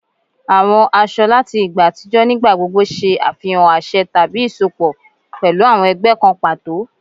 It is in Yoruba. Àwọn aṣọ láti ìgbà àtijọ́ nígbà gbogbo ṣe àfihàn àṣẹ tàbí isọpọ pẹlu awọn ẹgbẹ́ kan pàtó